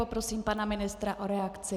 Poprosím pana ministra o reakci.